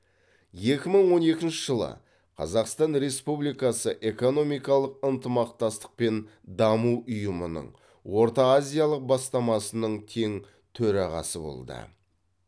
екі мың он екінші жылы қазақстан республикасы экономикалық ынтымақтастық пен даму ұйымының орта азиялық бастамасының тең төрағасы болды